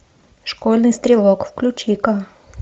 школьный стрелок включи ка